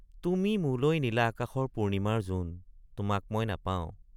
তুমি মোলৈ নীলা আকাশৰ পূৰ্ণিমাৰ জোন তোমাক মই নাপাওঁ।